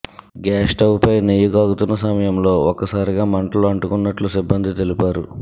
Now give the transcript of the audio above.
gas స్టవ్పై నెయ్యి కాగుతున్న సమయంలో ఒక్కసారిగా మంటులు అంటుకున్నట్లు సిబ్బంది తెలిపారు